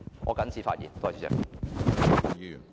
我謹此發言。